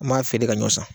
N m'a feere ka ɲɔ san